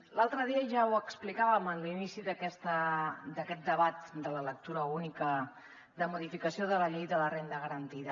l’altre dia ja ho explicàvem en l’inici d’aquest debat de la lectura única de modificació de la llei de la renda garantida